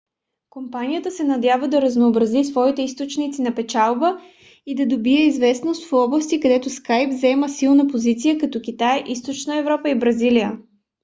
компанията се надява да разнообрази своите източници на печалба и да добие известност в области където skype заема силна позиция като китай източна европа и бразилия